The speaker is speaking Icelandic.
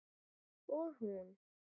Og hún?